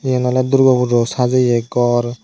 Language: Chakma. eyen oley durgo pujo sajeye gor.